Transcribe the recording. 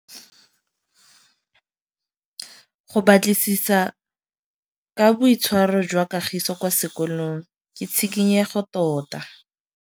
Go batlisisa ka boitshwaro jwa Kagiso kwa sekolong ke tshikinyêgô tota.